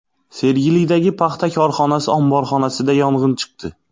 Sergelidagi paxta korxonasi omborxonasida yong‘in chiqdi .